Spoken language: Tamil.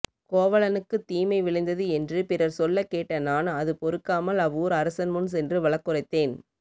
கோவலனுக்குத் தீமை விளைந்தது என்று பிறர் சொல்லக் கேட்ட நான் அது பொறுக்காமல் அவ்வூர் அரசன் முன் சென்று வழக்குரைத்தேன்